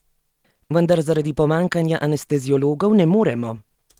Vendar zaradi pomanjkanja anesteziologov ne moremo!